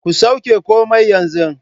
Ku sauke komai yanzu